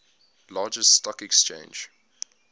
largest stock exchange